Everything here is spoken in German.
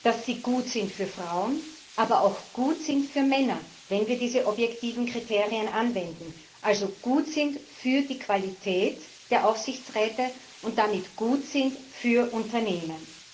dass sie gut sind für Frauen, aber auch gut sind für Männer wenn wir diese objektiven Kriterien anwenden also gut sind für die Qualität der Aufsichtsräte und damit gut sind für Unternehmen!